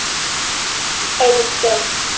Alls engin.